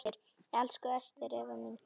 Elsku Ester Eva mín.